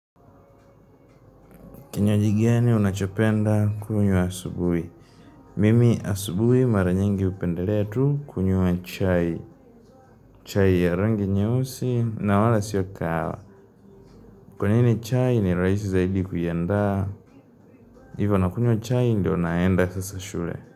Kinywaji gani unachopenda kunywa asubuhi? Mimi asubuhi mara nyingi hupenderea tu kunywa chai. Chai ya rangi nyeusi na wala sio kaawa. Kwa nini chai ni raisi zaidi kuiandaa? Ivo nakunywa chai ndio naenda sasa shure.